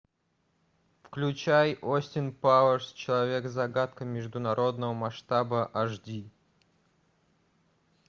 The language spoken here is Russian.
включай остин пауэрс человек загадка международного масштаба аш ди